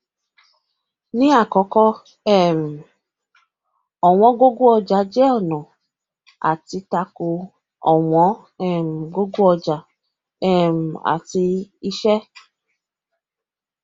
ní àkọkọ um ọwọn gogo ọjà jẹ ọnà àti tako ọwọn um gogo ọjà um àti iṣẹ